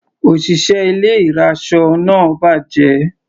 Òṣìṣẹ́ ilé ìraṣọ náà bàjẹ́.